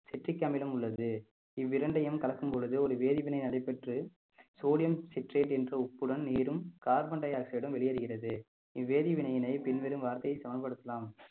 citric அமிலம் உள்ளது இவ்விரண்டையும் கலக்கும் பொழுது ஒரு வேதிவினை நடைபெற்று sodium citrate என்ற உப்புடன் நீரும் carbon dioxide உம் வெளியேறுகிறது இவ்வேதி வினையினை பின்வரும் வார்த்தையை சமன்படுத்தலாம்